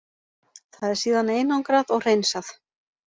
Það er síðan einangrað og hreinsað.